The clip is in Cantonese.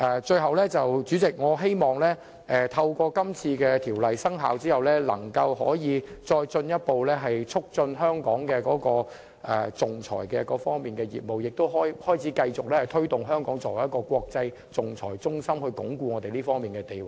最後，代理主席，我希望這項《條例草案》的生效，可以進一步促進香港在仲裁方面的業務，並可繼續推動香港作為一個國際仲裁中心，鞏固我們這方面的地位。